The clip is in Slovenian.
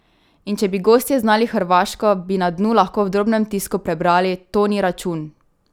In če bi gostje znali hrvaško, bi na dnu lahko v drobnem tisku prebrali: "To ni račun.